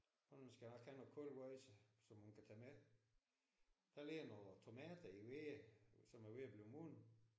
Hun skal nok have noget koldt wåj så som hun skal have med. Der ligger nogle tomater i wæge som er ved at blive modne